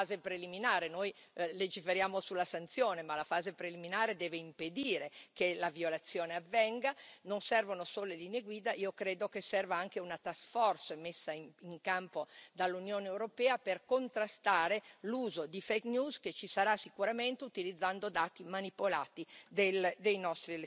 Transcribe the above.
che ci sarà sicuramente utilizzando dati manipolati